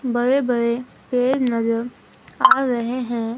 बड़े बड़े पेड़ नजर आ रहे हैं।